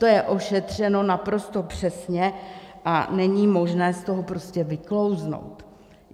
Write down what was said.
To je ošetřeno naprosto přesně a není možné z toho prostě vyklouznout.